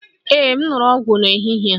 Ee m ṅụrụ ọgwụ m n'ehihie a